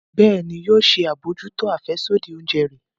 Bẹẹni, yóò ṣe abojuto afẹsodi oúnjẹ rẹ